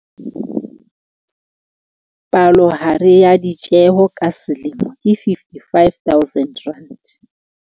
Palohare ya ditjeho ka selemo ke R55 000.